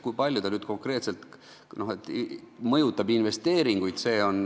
Kui palju ta mõjutab investeeringuid?